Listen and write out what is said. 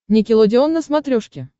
никелодеон на смотрешке